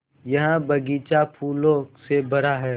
यह बग़ीचा फूलों से भरा है